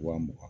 Wa mugan